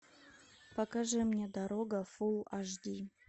покажи мне дорога фулл аш ди